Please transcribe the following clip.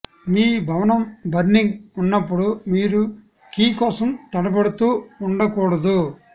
మీ భవనం బర్నింగ్ ఉన్నప్పుడు మీరు కీ కోసం తడబడుతూ ఉండకూడదు